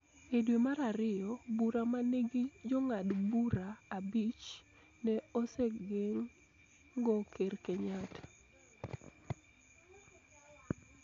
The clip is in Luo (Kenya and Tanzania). E dwe mar ariyo, bura ma nigi Jong'ad bura abich ne osegeng�o Ker Kenyatta